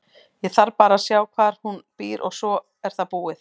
Ég þarf bara að sjá hvar hún býr og svo er það búið.